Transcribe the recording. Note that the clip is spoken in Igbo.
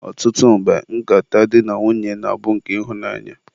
ọtụtụ mgbe, nkata di na nwunye na-abụ nke ịhụnanya.